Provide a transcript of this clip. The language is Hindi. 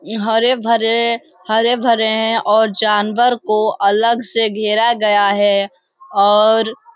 य हरे-भरे हरे-भरे हैं और जानवर को अलग से घेरा गया है और --